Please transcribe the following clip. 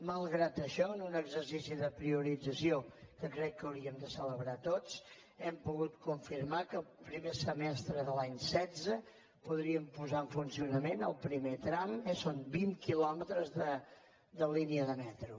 malgrat això en un exercici de priorització que crec que hauríem de celebrar tots hem pogut confirmar que el primer semestre de l’any setze en podríem posar en funcionament el primer tram eh són vint quilòmetres de línia de metro